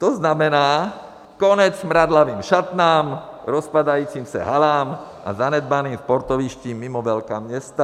To znamená konec smradlavým šatnám, rozpadajícím se halám a zanedbaným sportovištím mimo velká města.